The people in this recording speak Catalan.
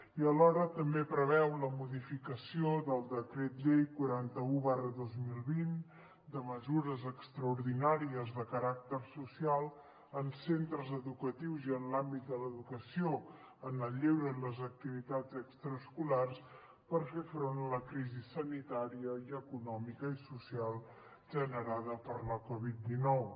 i alhora també preveu la modificació del decret llei quaranta un dos mil vint de mesures extraordinàries de caràcter social en centres educatius i en l’àmbit de l’educació en el lleure i de les activitats extraescolars per fer front a la crisi sanitària i econòmica i social generada per la covid dinou